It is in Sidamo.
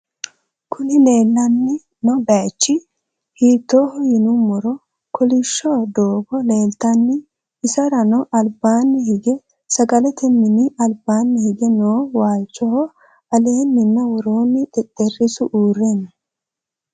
kuuni lelano bayichi hittoho yonumoro kolisho dogo leltano iserano albanni hige sagalate nini albanni hige noo walchoho aleenina woronni xexxerisu urre noo.